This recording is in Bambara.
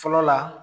Fɔlɔ la